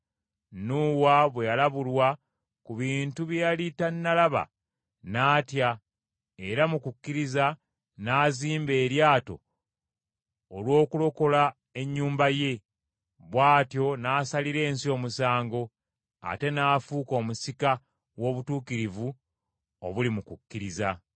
Nuuwa bwe yalabulwa ku bintu bye yali tannalaba, n’atya, era mu kukkiriza n’azimba eryato olw’okulokola ennyumba ye. Bw’atyo n’asalira ensi omusango, ate n’afuuka omusika w’obutuukirivu obuli mu kukkiriza.